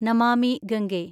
Namami Gange